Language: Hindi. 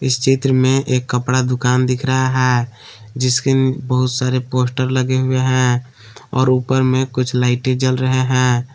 इस चित्र में एक कपड़ा दुकान दिख रहा है जिसके मे बहुत सारे पोस्टर लगे हुए हैं और ऊपर मे कुछ लाइटें जल रहे हैं।